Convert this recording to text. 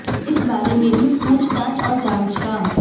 इस बारे में भी पूछ ताछ और जांच का